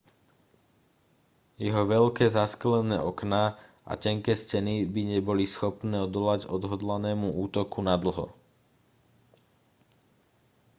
jeho veľké zasklené okná a tenké steny by neboli schopné odolať odhodlanému útoku nadlho